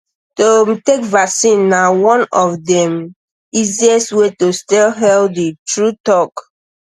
to um take vaccine na one of the um easiest um way to stay healthy true talk